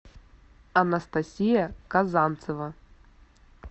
анастасия казанцева